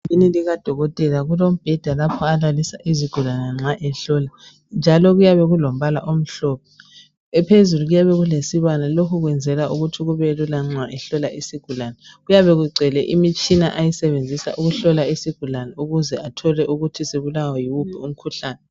Egumbuni likadokotela kulombheda lapho olalisa izigulane nxa ehlola njalo kuyabe okulombala omhlophe phezulu kuyabe kulesibane lokhu kwenzelwa ukuthi kubelula nxa ehlola isigulane kuyabe kugcwele imitshina oyisebenzisa ukuhlola isigulane ukuze athole ukuthi sibulawa yiwuphi umkhuhlane.